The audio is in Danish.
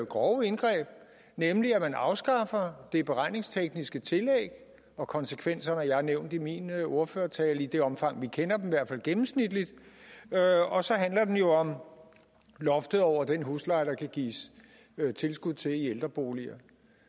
grove indgreb nemlig at man afskaffer det beregningstekniske tillæg og konsekvenserne har jeg nævnt i min ordførertaler i det omfang vi kender dem i hvert fald gennemsnitligt og så handler det jo om loftet over den husleje der kan gives tilskud til i ældreboliger